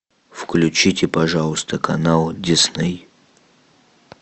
включите пожалуйста канал дисней